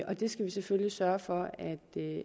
og vi skal selvfølgelig sørge for